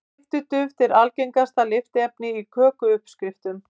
Lyftiduft er algengasta lyftiefni í kökuuppskriftum.